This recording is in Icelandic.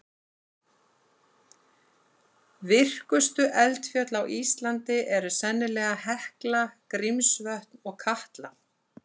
Virkustu eldfjöll á Íslandi eru sennilega Hekla, Grímsvötn og Katla.